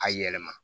A yɛlɛma